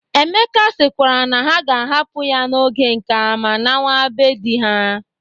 Emeka sịkwara na ha ga-ahapụ ya n'oge nka ma nawa be di ha.